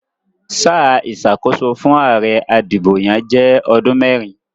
Sáà ìsàkóso fún àare adìbòyàn jé odún mérin